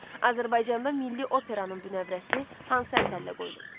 Azərbaycanda milli operanın bünövrəsi hansı əsərlə qoyulub?